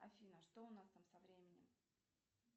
афина что у нас там со временем